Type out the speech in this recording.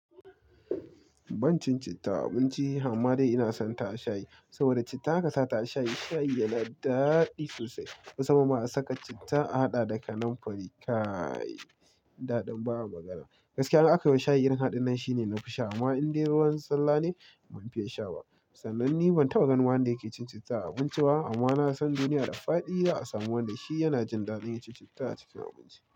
Ban cin citta a abinci ba, amma dai ina son ta a shayi saboda citta kasata a shayi, shayi yana da daɗi sosai. Wasu ma ma suka saka citta a haɗa da kanam fari. Kai! Da ɗan bawa magana. Gaskiya an akai wa shayi irin haɗin nan shi ne na fi sha amma in dai ruwan ne ban fiya sha ba. Sanan ni ban taba ganin wanda yake cin citta a abinci ba amma na san duniya da faɗi, yana a samu wanda shi yana jin daɗin ya ci citta a cikin abinci.